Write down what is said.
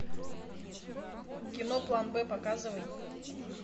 кино план б показывай